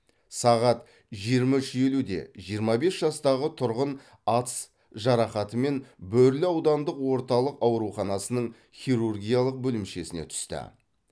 сағат жиырма үш елуде жиырма бес жастағы тұрғын атыс жарақатымен бөрлі аудандық орталық ауруханасының хирургиялық бөлімшесіне түсті